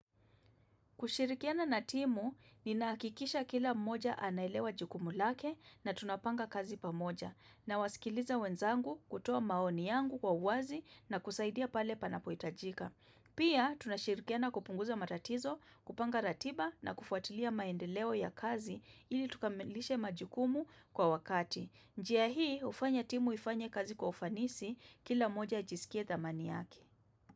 Kushirikiana na timu, ni nakikisha kila moja anaelewa jukumu lake na tunapanga kazi pamoja na wasikiliza wenzangu kutoa maoni yangu kwa uwazi na kusaidia pale panapoitajika. Pia, tunashirikiana kupunguza matatizo, kupanga ratiba na kufuatilia maendeleo ya kazi ili tukamilishe majukumu kwa wakati. Njia hii, ufanya timu ifanya kazi kwa ufanisi kila moja ajisikie dhamani yake.